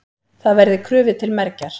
Það verði krufið til mergjar.